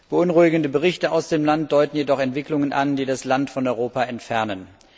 Beunruhigende Berichte aus dem Land deuten jedoch Entwicklungen an, die das Land von Europa entfernen.